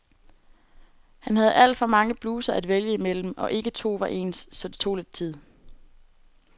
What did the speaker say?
Han havde alt for mange bluser at vælge imellem, og ikke to var ens, så det tog lidt tid.